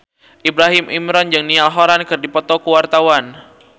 Ibrahim Imran jeung Niall Horran keur dipoto ku wartawan